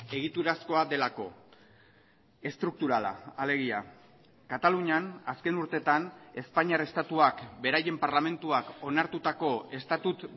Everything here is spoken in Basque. egiturazkoa delako estrukturala alegia katalunian azken urtetan espainiar estatuak beraien parlamentuak onartutako estatut